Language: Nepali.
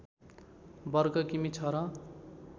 वर्ग किमि छ र